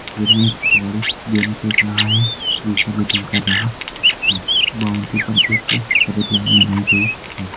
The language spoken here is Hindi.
इनमे एक खिलाड़ी गेंद फेख रहा है दूसरा बैटिंग कर रहा है बाउंड्री पर एक सफ़ेद लाईन बनाई गयी है।